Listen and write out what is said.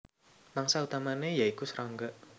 Mangsa utamané ya iku srangga